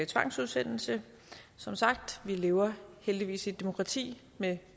tvangsudsendelse som sagt vi lever heldigvis i et demokrati med